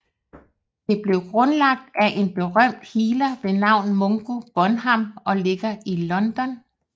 Det blev grundlagt af en berømt healer ved navn Mungo Bonham og ligger i London